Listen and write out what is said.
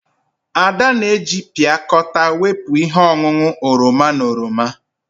Ada na-eji piakota wepụ ihe ọṅụṅụ oroma na oroma.